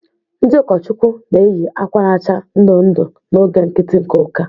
Ndị ụkọchukwu na-eyi akwa na-acha ndụ ndụ n'oge nkiti nke ụka.